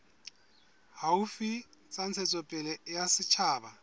haufi tsa ntshetsopele ya setjhaba